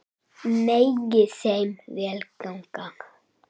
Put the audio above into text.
Megi þeim vel ganga.